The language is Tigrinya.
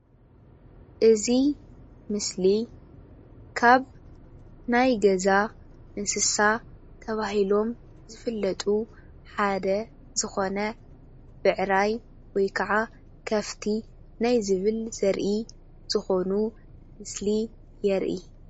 እዚ ምስሊ ካብ ናይ ገዛ እንስሳ ተባሂሎም ዝፍለጡ ሓደ ዝኾነ ብዕራይ ወይ ከዓ ከፍቲ ናይ ዝብል ዘርኢ ዝኾኑ ምስሊ የርኢ፡፡